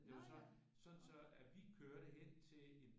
Det var så så så at vi kørte hen til en